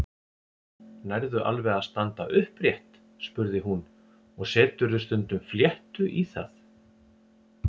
Nærðu alveg að standa upprétt? spurði hún og Seturðu stundum fléttu í það?